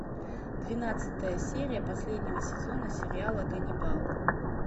двенадцатая серия последнего сезона сериала ганнибал